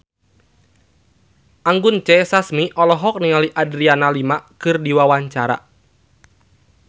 Anggun C. Sasmi olohok ningali Adriana Lima keur diwawancara